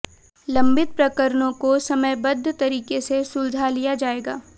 लंबित प्रकरणों को समयबद्ध तरीके से सुलझा लिया जाएगा